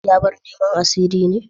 Ya bar neman a sirri ne?